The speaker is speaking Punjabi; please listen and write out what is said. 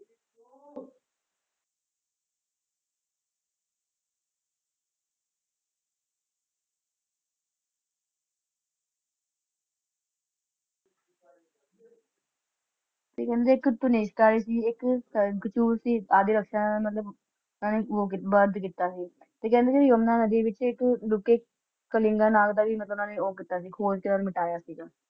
ਤੇ ਕਹਿੰਦੇ ਇੱਕ ਆਈ ਸੀ ਇੱਕ ਸੀ। ਮਤਲਬ ਉਹ ਬੰਦ ਕਿੱਤਾ ਸੀ। ਤੇ ਕਹਿੰਦੇ ਨੇ ਯਮੁਨਾ ਨਦੀ ਵਿਚ ਇੱਕ ਕਲਿੰਗਾ ਨਾਲ ਦਾ ਵੀ ਮਤਲਬ ਉੰਨਾ ਨੇ ਖੋਜ ਤੇ ਮਿਟਾਯਾ ਸੀਗਾ।